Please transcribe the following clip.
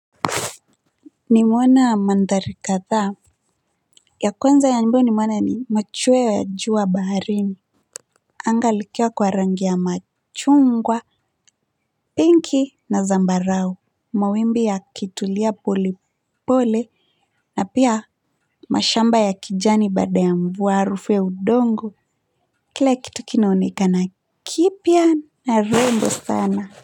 Nimeona mandhari kathaa, ya kwanza ya ambayo nimeona ni machweo ya jua baharini anga likiwa kwa rangi ya machungwa, pinki na zambarau mawimbi yakitulia polepole na pia mashamba ya kijani baada ya mvua, harufu ya udongo kila kitu kinaonekana kipya na rembo sana.